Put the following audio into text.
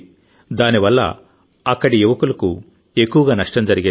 దానివల్ల అక్కడి యువకులకు ఎక్కువగా నష్టం జరిగేది